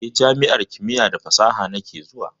Eh, jami'ar kimiya da fasaha nake zuwa.